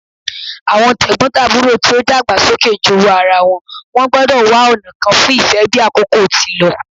Awọn tegbotaburo ti o dagba soke jowú ara wọn gbọdọ wa ọna kan fun ife bi akoko ti lọ